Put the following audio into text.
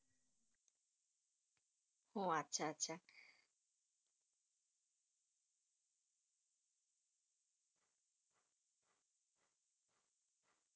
উহ । আচ্ছা আচ্ছা।